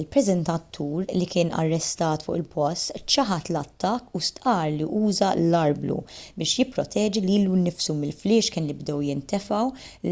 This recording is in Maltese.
il-preżentatur li kien arrestat fuq il-post ċaħad l-attakk u stqarr li uża l-arblu biex jipproteġi lilu nnifsu mill-fliexken li bdew jintefgħu